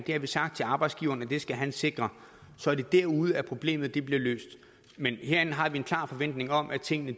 har vi sagt til arbejdsgiverne at de skal sikre og så er det derude at problemet bliver løst herinde har vi en klar forventning om at tingene